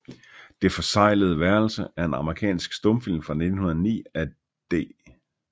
Det forseglede Værelse er en amerikansk stumfilm fra 1909 af D